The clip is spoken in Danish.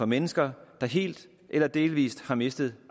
mennesker der helt eller delvis har mistet